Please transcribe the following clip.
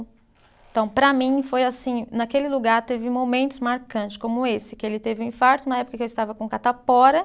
Então para mim foi assim, naquele lugar teve momentos marcantes como esse, que ele teve um infarto na época que eu estava com catapora.